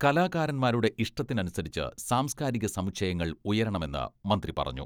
കലാകാരൻമാരുടെ ഇഷ്ടത്തിനനുസരിച്ച് സാംസ്കാരിക സമുച്ചയങ്ങൾ ഉയരണമെന്ന് മന്ത്രി പറഞ്ഞു.